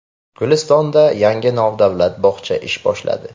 Gulistonda yangi nodavlat bog‘cha ish boshladi.